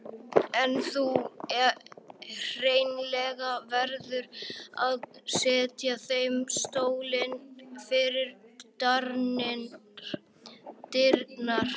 En þú hreinlega verður að setja þeim stólinn fyrir dyrnar.